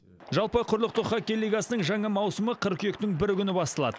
жалпы құрлықтық хоккей лигасының жаңа маусымы қыркүйектің бірі күні басталады